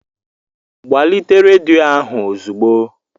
Gbalite rediyo ahụ ozugbo!